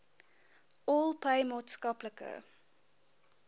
all pay maatskaplike